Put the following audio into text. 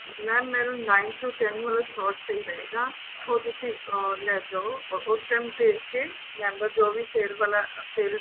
mam ਮੈਨੂੰ nine to twelve ਵਾਲਾ slot ਸਹੀ ਰਹੇਗਾ ਉਹ ਤੁਸੀਂ ਆ ਲੈ ਜੋ ਉਹ time ਭੇਜ ਕੇ member ਜੋ ਵੀ ਸਵੇਰ ਵਾਲਾ ਸਵੇਰੇ